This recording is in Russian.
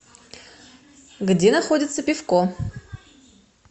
где находится пивко